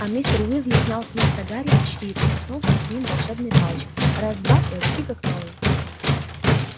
а мистер уизли снял с носа гарри очки и прикоснулся к ним волшебной палочкой раз-два и очки как новые